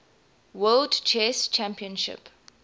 world chess championship